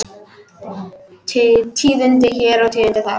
Tíðindi hér og tíðindi þar.